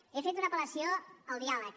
he fet una apel·lació al diàleg